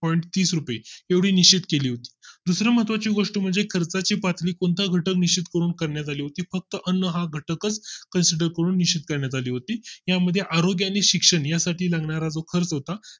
point तीस रुपये एवढी निश्चित केली होती दुसरी महत्त्वाची गोष्ट म्हणजे करता ची पातळी कोणता घटक निश्चित करून करण्यात आली होती फक्त अन्न हा घटक consider करून निश्चित करण्यात आली होती यामध्ये आरोग्य आणि शिक्षण यासाठी लागणारा जो खर्च होता